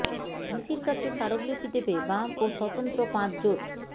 ভিসির কাছে স্মারকলিপি দেবে বাম ও স্বতন্ত্র পাঁচ জোট